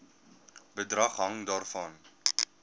bedrag hang daarvan